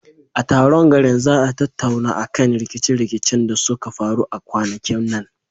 A taron garin za a tattauna akan rikice rikicen da suka faru a kwanakin nan.